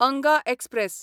Anga express